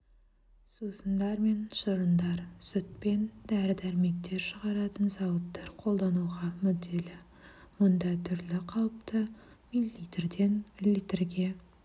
сусындар мен шырындар сүт пен дәрі-дәрмектер шығаратын зауыттар қолдануға мүдделі мұнда түрлі қалыпта мл-ден литрге